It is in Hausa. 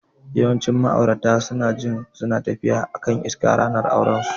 Yawancin ma'aurata suna jin suna tafiya a kan iska a ranar aurensu.